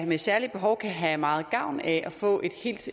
med særlige behov kan have meget gavn af at få